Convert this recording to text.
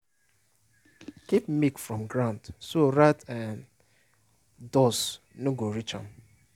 keep milk from ground so rat and dust no go reach am